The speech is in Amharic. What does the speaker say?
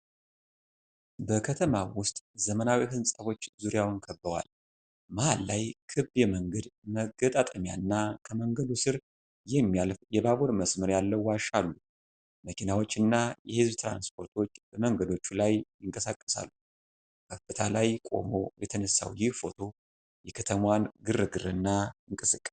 በከተማው ዉስጥ ዘመናዊ ሕንፃዎች ዙሪያውን ከበዋል። መሀል ላይ ክብ የመንገድ መጋጠሚያና ከመንገዱ ስር የሚያልፍ የባቡር መስመር ያለው ዋሻ አሉ። መኪናዎችና የሕዝብ ትራንስፖርቶች በመንገዶቹ ላይ ይንቀሳቀሳሉ። ከፍታ ላይ ቆሞ የተነሳው ይህ ፎቶ የከተማዋን ግርግርና እንቅስቃሴ ያሳያል።